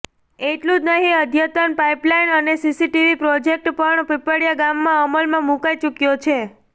એટલું જ નહીં અદ્યતન પાઇપલાઇન અને સીસીટીવી પ્રોજેકટ પણ પીપળીયા ગામમાં અમલમાં મુકાઈ ચુક્યો છે